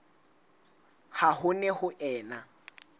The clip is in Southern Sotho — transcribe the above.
ha ho ne ho ena